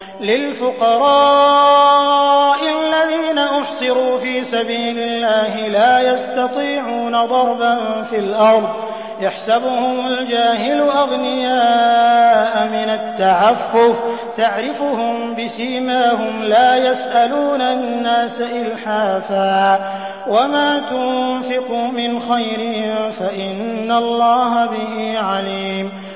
لِلْفُقَرَاءِ الَّذِينَ أُحْصِرُوا فِي سَبِيلِ اللَّهِ لَا يَسْتَطِيعُونَ ضَرْبًا فِي الْأَرْضِ يَحْسَبُهُمُ الْجَاهِلُ أَغْنِيَاءَ مِنَ التَّعَفُّفِ تَعْرِفُهُم بِسِيمَاهُمْ لَا يَسْأَلُونَ النَّاسَ إِلْحَافًا ۗ وَمَا تُنفِقُوا مِنْ خَيْرٍ فَإِنَّ اللَّهَ بِهِ عَلِيمٌ